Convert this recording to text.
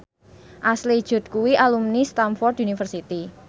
Ashley Judd kuwi alumni Stamford University